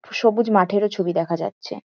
সবুজ মাঠেরও ছবি দেখা যাচ্ছে।